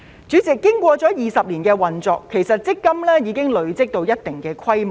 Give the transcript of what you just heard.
主席，經過了20年的運作，強積金已累積到一定規模。